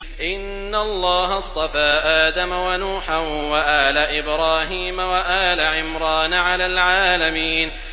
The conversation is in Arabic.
۞ إِنَّ اللَّهَ اصْطَفَىٰ آدَمَ وَنُوحًا وَآلَ إِبْرَاهِيمَ وَآلَ عِمْرَانَ عَلَى الْعَالَمِينَ